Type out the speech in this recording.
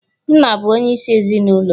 Nna bụ onyeisi ezinụlọ